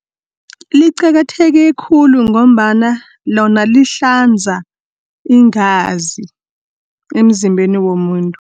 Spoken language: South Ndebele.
Liqakatheke khulu, ngombana lona lihlanza iingazi emzimbeni womuntu.